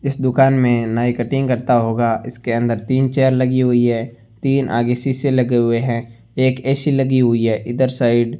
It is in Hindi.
इस दुकान मे नाई कटिंग करता होगा इसके अंदर तीन चेयर लगी हुई है तीन आगे शीशे लगे हुए है एक ए_सी लगी हुई है इधर साइड --